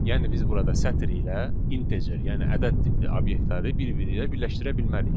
Yəni biz burada sətir ilə integer, yəni ədəd tipli obyektləri bir-birinə birləşdirə bilmərik.